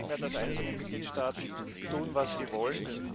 Es geht nicht mehr, dass einzelne Mitgliedstaaten tun, was sie wollen.